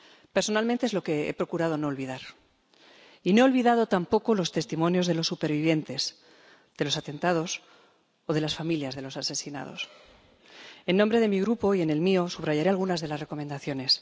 Personalmente, es lo que he procurado no olvidar, y no he olvidado tampoco los testimonios de los supervivientes de los atentados o de las familias de los asesinados. En nombre de mi Grupo, y en el mío, subrayaré algunas de las recomendaciones.